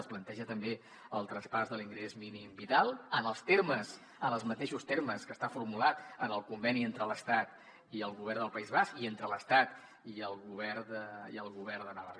es planteja també el traspàs de l’ingrés mínim vital en els mateixos termes que està formulat en el conveni entre l’estat i el govern del país basc i entre l’estat i el govern de navarra